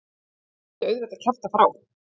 Hún myndi auðvitað kjafta frá.